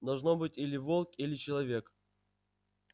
должно быть или волк или человек